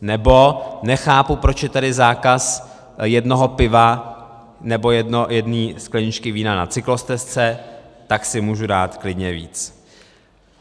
Nebo nechápu, proč je tady zákaz jednoho piva nebo jedné skleničky vína na cyklostezce, tak si můžu dát klidně víc.